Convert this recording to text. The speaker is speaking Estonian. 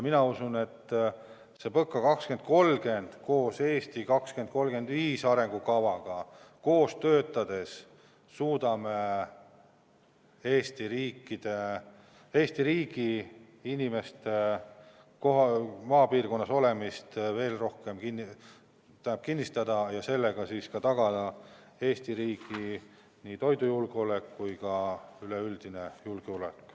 Mina usun, et lähtudes PõKa 2030-st ja "Eesti 2035" arengukavast, me suudame koos töötades Eesti riigi inimeste maapiirkonnas olemist veel rohkem kinnistada ja sellega tagada nii Eesti riigi toidujulgeoleku kui ka üleüldise julgeoleku.